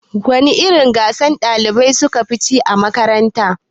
Wana irin gasa ɗalibai sukafi yi cikin makaranta?